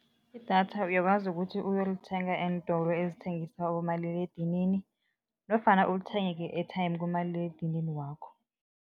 Idatha uyakwazi ukuthi uyolithenga eentolo ezithengisa abomaliledinini nofana ulithenge nge-airtime kumaliledinini wakho.